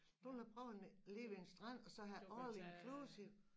Det vil jeg prøve og ligge ved en strand og så have all-inclusive